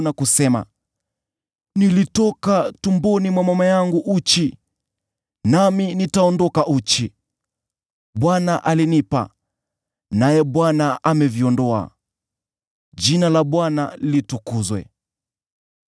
na kusema: “Nilitoka tumboni mwa mama yangu uchi, nami nitaondoka uchi, Bwana alinipa, naye Bwana ameviondoa, jina la Bwana litukuzwe.”